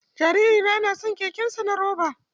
Jariri na yana son kekensa na roba.